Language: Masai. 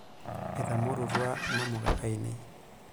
Etamorutua namuka ainei.